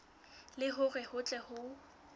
le hore ho tle ho